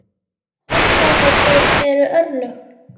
Hormón eru örlög!